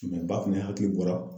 ba fɛnɛ hakili bɔra